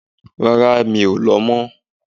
Rárá, mi o lọ mo